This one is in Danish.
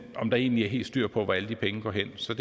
om der egentlig er helt styr på hvor alle de penge går hen så